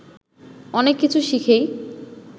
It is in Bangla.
অনেক কিছু শিখেই